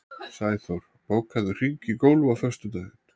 Sæþór, bókaðu hring í golf á föstudaginn.